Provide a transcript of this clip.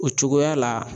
O cogoya la